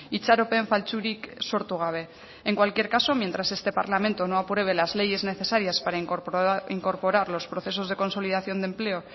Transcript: itxaropen faltsurik sortu gabe en cualquier caso mientras este parlamento no apruebe las leyes necesarias para incorporar los procesos de consolidación de empleo